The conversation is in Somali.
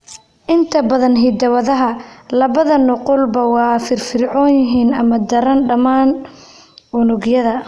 Inta badan hiddo-wadaha, labada nuqulba waa firfircoon yihiin, ama "daran," dhammaan unugyada.